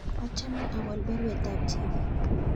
Achame awol baruet ab Chebet